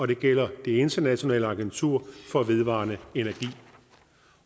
det gælder det internationale agentur for vedvarende energi